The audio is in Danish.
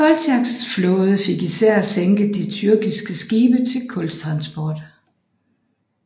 Koltjaks flåde fik især sænket de tyrkiske skibe til kultransport